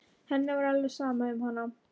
Henni var alveg sama um hana.